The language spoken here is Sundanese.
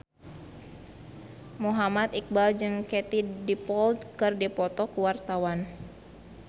Muhammad Iqbal jeung Katie Dippold keur dipoto ku wartawan